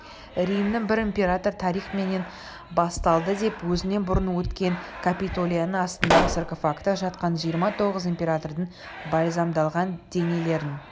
римнің бір императоры тарих менен басталадыдеп өзінен бұрын өткен капитолияның астында саркофагта жатқан жиырма тоғыз императордың бальзамдалған денелерін